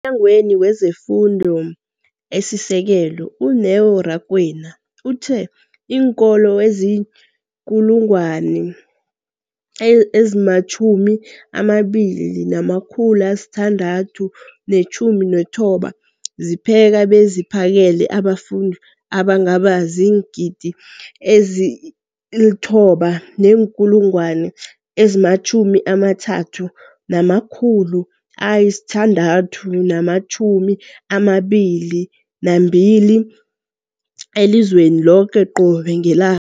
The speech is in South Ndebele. EmNyangweni wezeFundo esiSekelo, u-Neo Rakwena, uthe iinkolo ezizi-20 619 zipheka beziphakele abafundi abangaba ziingidi ezili-9 032 622 elizweni loke qobe ngela